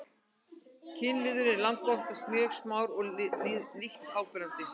kynliðurinn er langoftast mjög smár og lítt áberandi